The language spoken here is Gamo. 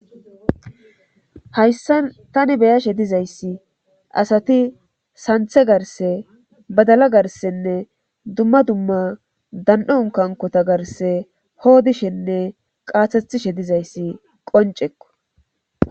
hayssa tani beyashe dizayssi asati santhe garse badala garsenne dumma dumma dan7on kankota garse hoodishenne qaathethishe dizayssi qoncekko